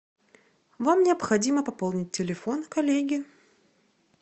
вам необходимо пополнить телефон коллеге